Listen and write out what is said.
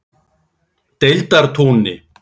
Deildartúni